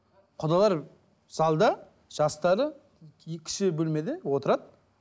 құдалар залда жастары кіші бөлмеде отырады